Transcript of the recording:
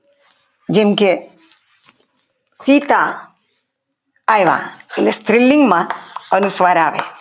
જેમકે સીતા આવ્યા એ સ્ત્રીલિંગમાં અને અનુસ્વાર આવે